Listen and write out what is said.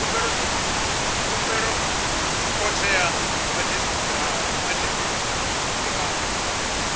khumbelo khothe ya madzhisi ṱira